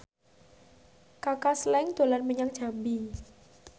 Kaka Slank dolan menyang Jambi